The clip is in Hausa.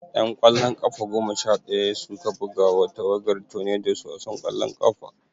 'Yan ƙwallon ƙafa goma sha ɗaya su ka buga ma tawagar Tornadoes wasan ƙwallon ƙafa.